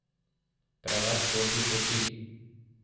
Preveč votlih oči.